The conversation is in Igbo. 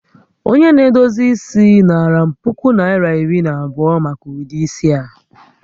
Onye na-edozi isi naara m puku Naịra ,iri na abụọ maka ụdị isi a